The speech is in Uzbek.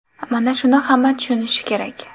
Mana shuni hamma tushunishi kerak.